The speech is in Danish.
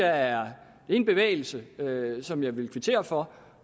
er en bevægelse som jeg vil kvittere for